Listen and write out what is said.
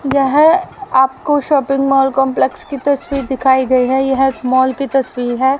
यह आपको shopping mall complex की तस्वीर दिखाई गई है यह एक मॉल की तस्वीर है।